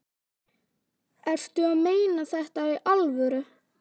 Ertu að meina þetta í alvöru?